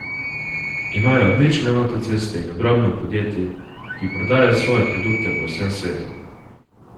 Imajo odlične avtoceste in ogromno podjetij, ki prodajajo svoje produkte po vsem svetu.